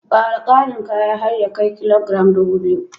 Ƙara ƙarin kaya har ya kai kilogiram ɗubu biyu